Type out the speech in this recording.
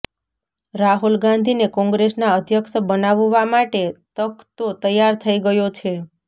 રાહુલ ગાંધીને કોંગ્રેસના અધ્યક્ષ બનાવવા માટે તખ્તો તૈયાર થઈ ગયો છે